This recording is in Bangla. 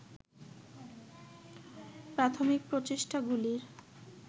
প্রাথমিক প্রচেষ্টাগুলির